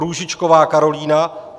Růžičková Karolína